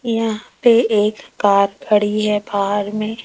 यहां पे एक कार खड़ी है बाहर में।